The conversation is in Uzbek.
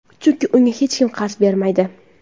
Chunki unga hech kim qarz bermaydi.